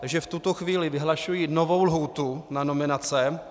Takže v tuto chvíli vyhlašuji novou lhůtu na nominace.